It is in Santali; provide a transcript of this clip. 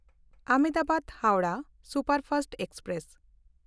Ahmedabad Howrah superfast express